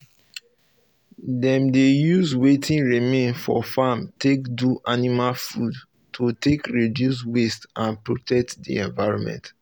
them dey use wetin remain for farm take um do animal food to take reduce um waste and protect the um environment